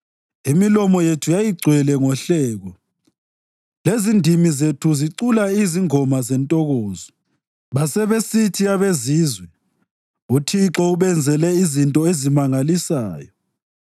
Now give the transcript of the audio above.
Imilomo yethu yayigcwele ngohleko, lezindimi zethu zicula izingoma zentokozo. Basebesithi abezizwe, “ UThixo ubenzele izinto ezimangalisayo.”